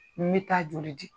N bɛ taa joli di.